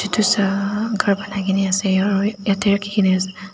dusra banai kaena ase aro yatae rakhi kaena ase.